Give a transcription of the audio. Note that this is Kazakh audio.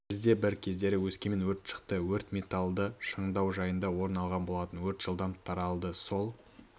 бізде бір кездері өскемен өрт шықты өрт металлды шыңдау жайында орын алған болатын өрт жылдам таралды сол